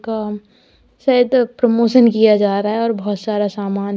शायद प्रमोशन किया जा रहा है और बहोत सारा सामान है।